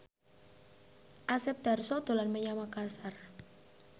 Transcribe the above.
Asep Darso dolan menyang Makasar